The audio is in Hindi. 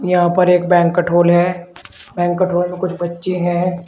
यहां पर एक बैंकेट हॉल है बैंकेट हॉल में कुछ बच्चे हैं।